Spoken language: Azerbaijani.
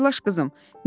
Hazırlaş, qızım.